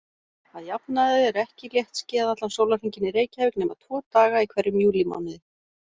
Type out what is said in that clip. Að jafnaði er ekki léttskýjað allan sólarhringinn í Reykjavík nema tvo daga í hverjum júlímánuði.